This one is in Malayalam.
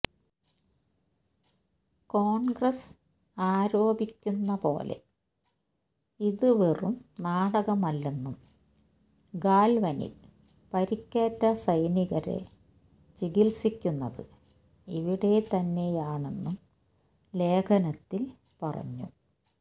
കോൺഗ്രസ് ആരോപിക്കുന്ന പോലെ ഇതുവെറും നാടകമല്ലെന്നും ഗാൽവനിൽ പരിക്കേറ്റ സൈനികരെ ചികിത്സിക്കുന്നത് ഇവിടെ തന്നെയാണെന്നും ലേഖനത്തിൽ പറഞ്ഞു